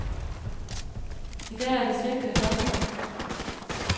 I dag er det cirka det dobbelte.